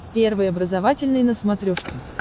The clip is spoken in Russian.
первый образовательный на смотрешке